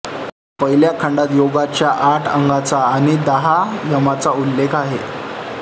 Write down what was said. पहिल्या खंडात योगाच्या आठ अंगांचा आणि दहा यमांचा उल्लेख आहे